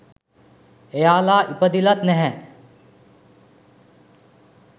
එයාලා ඉපදිලත් නැහැ